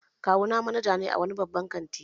Kawuna manaja ne a wani babban kanti